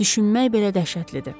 Düşünmək belə dəhşətlidir.